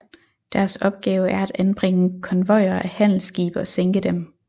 Deres opgave er at angribe konvojer af handelsskibe og sænke dem